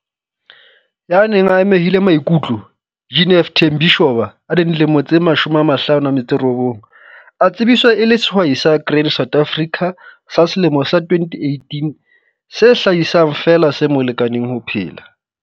Ya neng a amehile maikutlo, Jeneth Thembi Shoba, 59, a tsebiswa e le Sehwai sa Grain SA sa selemo sa 2018 se hlahisang feela se mo lekaneng ho phela.